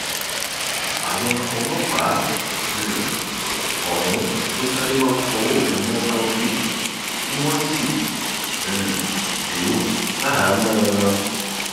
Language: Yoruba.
àwọn ọlọpàá um ọhún ló sáré wàá fọwọ òfin mú taofeek tí wọn sì um jù ú ṣaháámọ wọn